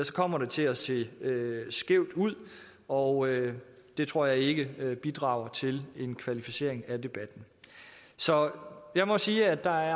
så kommer det til at se skævt ud og det tror jeg ikke bidrager til en kvalificering af debatten så jeg må sige at der